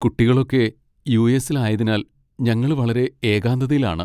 കുട്ടികളൊക്കെ യു.എസ്സിൽ ആയതിനാൽ ഞങ്ങള് വളരെ എകാന്തതയിലാണ്.